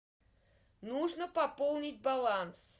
нужно пополнить баланс